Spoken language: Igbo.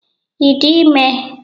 Ị dị ime?